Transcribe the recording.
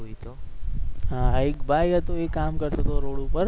હા એક ભાઈ હતો એ કામ કરતો હતો રોડ ઉપર